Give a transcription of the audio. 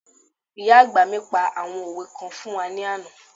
Ìyá àgbà mi pa àwọn òwe kan fún wa ní àná